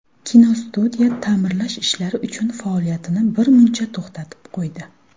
Kinostudiya ta’mirlash ishlari uchun faoliyatini birmuncha to‘xtatib qo‘ydi.